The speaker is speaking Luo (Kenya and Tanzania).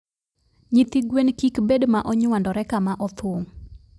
nyithi gwen kik bed ma onywandore kama othung.